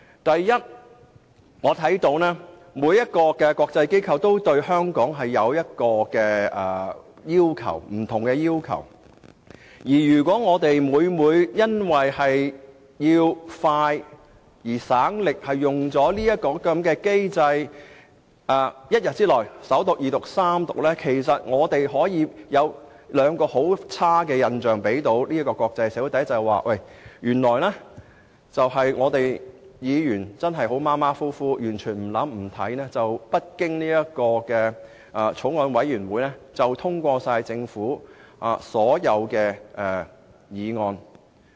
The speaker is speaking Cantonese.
第一，每個國際機構對香港也有不同要求，如果議員因省時、省力的緣故，而要即日完成法案的首讀、二讀和三讀程序，便會給國際社會兩個非常差的印象：第一，本會議員態度馬虎，完全不動腦筋，也不想細閱條文，不經法案委員會便通過政府提出的所有法案。